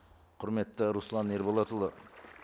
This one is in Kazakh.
құрметті руслан ерболатұлы